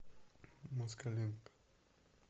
москаленко